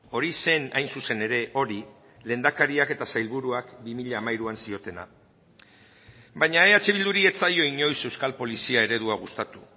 hori zen hain zuzen ere hori lehendakariak eta sailburuak bi mila hamairuan ziotena baina eh bilduri ez zaio inoiz euskal polizia eredua gustatu